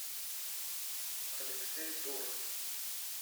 алексей дуров